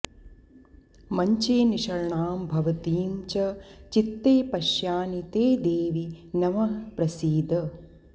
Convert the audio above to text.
मञ्चे निषण्णां भवतीं च चित्ते पश्यानि ते देवि नमः प्रसीद